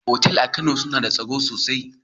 Otal a Kano suna da tsaro sosai.